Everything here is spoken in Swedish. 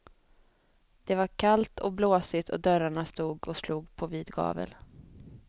Det var kallt och blåsigt och dörrarna stod och slog på vid gavel.